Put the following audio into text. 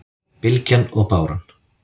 Bylgjan og báran